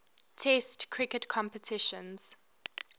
test cricket competitions